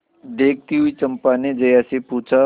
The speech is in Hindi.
देखती हुई चंपा ने जया से पूछा